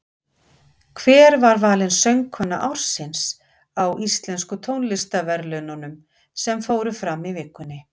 Hver var valin söngkona ársins á íslensku tónlistarverðlaununum sem fóru fram í vikunni?